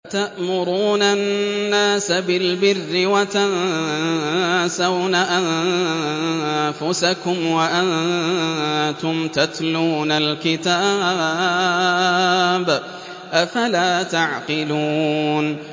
۞ أَتَأْمُرُونَ النَّاسَ بِالْبِرِّ وَتَنسَوْنَ أَنفُسَكُمْ وَأَنتُمْ تَتْلُونَ الْكِتَابَ ۚ أَفَلَا تَعْقِلُونَ